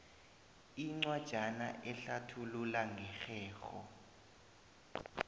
incwajana ehlathulula ngerhelo